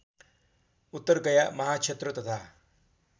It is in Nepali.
उत्तरगया महाक्षेत्र तथा